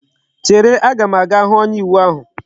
Chere! a ga m aga hu onye iwu ahu!